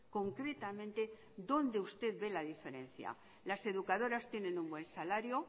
concretamente dónde usted ve la diferencia las educadoras tienen un buen salario